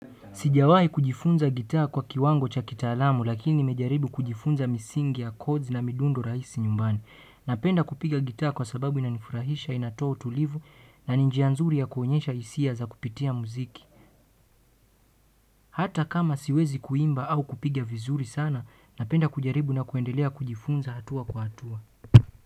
Sijawai kujifunza gitaa kwa kiwango cha kitaalamu lakini nimejaribu kujifunza misingi ya chords na midundo rahisi nyumbani. Napenda kupiga gitaa kwa sababu inanifurahisha inatoa utulivu na ni njia nzuri ya kuonyesha hisia za kupitia muziki. Hata kama siwezi kuimba au kupiga vizuri sana napenda kujaribu na kuendelea kujifunza hatua kwa hatua.